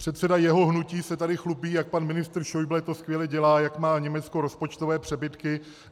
Předseda jeho hnutí se tady chlubí, jak pan ministr Schäuble to skvěle dělá, jak má Německo rozpočtové přebytky.